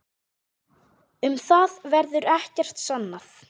Um það verður ekkert sannað.